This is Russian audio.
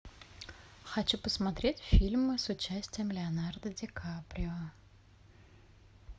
хочу посмотреть фильмы с участием леонардо ди каприо